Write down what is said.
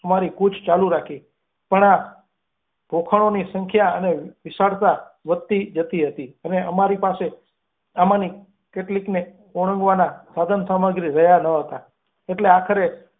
અમારી કૂચ ચાલુ રાખી. પણ આ ખોભણો ની સંખ્યા અને વિશાળતા વધતી જતી હતી અને અમારી પાસે આમાંની કેટલીકને ઓળંગવાના સાધનસામી રહ્યાં ન હતાં. એટલે આખરે.